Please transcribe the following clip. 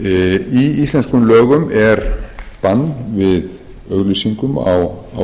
í íslenskum lögum er bann við auglýsingum á